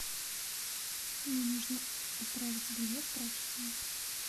мне нужно отправить белье в прачечную